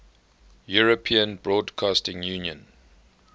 european broadcasting union